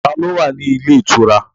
Ta ló wà ní ilé ìtura?